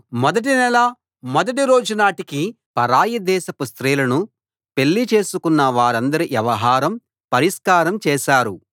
మొదటి నెల మొదటి రోజునాటికి పరాయి దేశపు స్త్రీలను పెళ్లి చేసికొన్న వారందరి వ్యవహారం పరిష్కారం చేశారు